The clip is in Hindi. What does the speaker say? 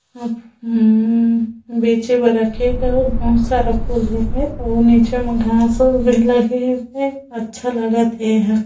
उ -उ बेचे बर रखे हे कहुक बहुत सारा फुल हे और निचे में घास उगरी लगे हे अच्छा लागत हे येहा ।